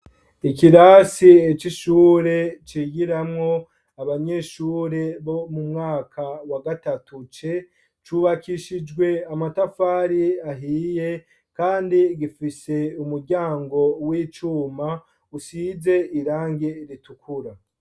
Ikirasi c'ishure, cigiramwo abanyeshure, bo mu mwaka wa gatatu C, cubakishijwe amatafari ahiye, kandi gifise umuryango w'icuma, usize irangi ritukura.